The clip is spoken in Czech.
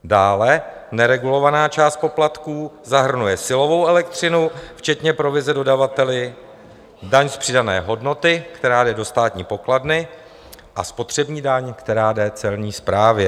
Dále neregulovaná část poplatků zahrnuje silovou elektřinu včetně provize dodavateli, daň z přidané hodnoty, která jde do státní pokladny, a spotřební daň, která jde celní správě.